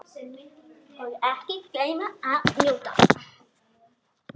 Og ekki gleyma að njóta.